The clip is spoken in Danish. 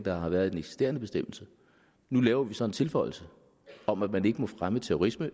der har været i den eksisterende bestemmelse nu laver vi så en tilføjelse om at man ikke må fremme terrorisme